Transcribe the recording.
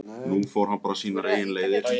Nú fór hann bara sínar eigin leiðir.